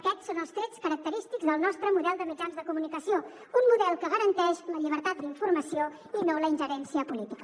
aquests són els trets característics del nostre model de mitjans de comunicació un model que garanteix la llibertat d’informació i no la ingerència política